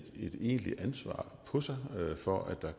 egentligt ansvar på sig for at der